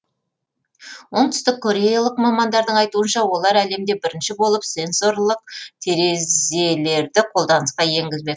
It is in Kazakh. оңтүстік кореялық мамандардың айтуынша олар әлемде бірінші болып сенсорлық терезелерді қолданысқа енгізбек